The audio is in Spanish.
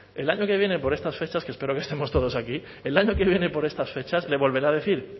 el año que viene por estas fechas que espero que estemos todos aquí el año que viene por estas fechas le volveré a decir